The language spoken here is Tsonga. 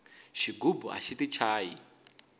xigubu axi ti chayi